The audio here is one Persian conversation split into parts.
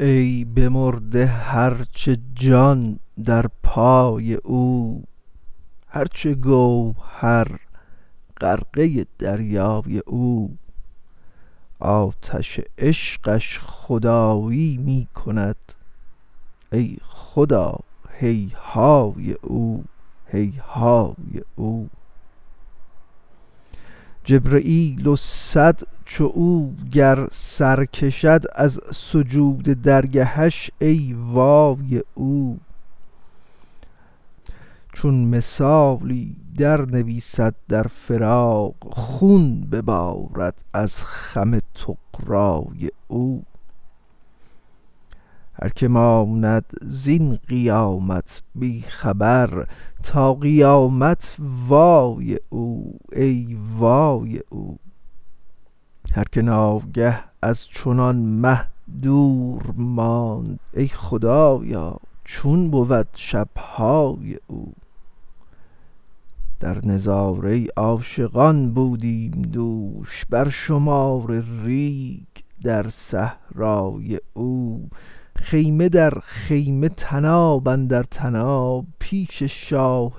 ای بمرده هر چه جان در پای او هر چه گوهر غرقه در دریای او آتش عشقش خدایی می کند ای خدا هیهای او هیهای او جبرییل و صد چو او گر سر کشد از سجود درگهش ای وای او چون مثالی برنویسد در فراق خون ببارد از خم طغرای او هر کی ماند زین قیامت بی خبر تا قیامت وای او ای وای او هر کی ناگه از چنان مه دور ماند ای خدایا چون بود شب های او در نظاره عاشقان بودیم دوش بر شمار ریگ در صحرای او خیمه در خیمه طناب اندر طناب پیش شاه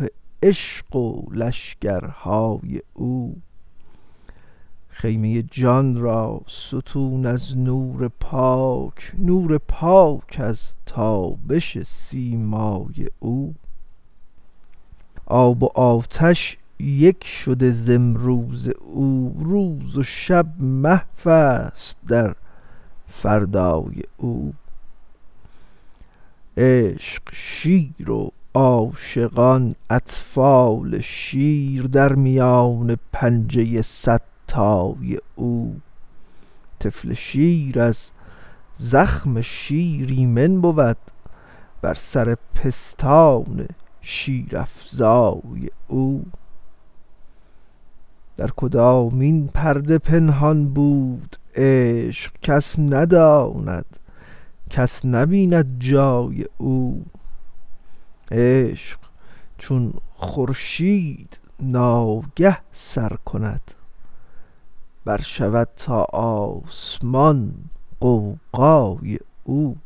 عشق و لشکرهای او خیمه جان را ستون از نور پاک نور پاک از تابش سیمای او آب و آتش یک شده ز امروز او روز و شب محو است در فردای او عشق شیر و عاشقان اطفال شیر در میان پنجه صدتای او طفل شیر از زخم شیر ایمن بود بر سر پستان شیرافزای او در کدامین پرده پنهان بود عشق کس نداند کس نبیند جای او عشق چون خورشید ناگه سر کند برشود تا آسمان غوغای او